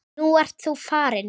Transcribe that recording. Nú ert þú farinn.